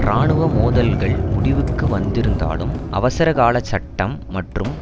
இராணுவ மோதல்கள் முடிவுக்கு வந்திருந்தாலும் அவசரகால சட்டம் மற்றும்